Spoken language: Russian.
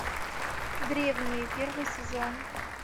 древние первый сезон